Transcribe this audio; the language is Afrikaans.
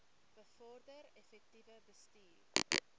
bevorder effektiewe bestuur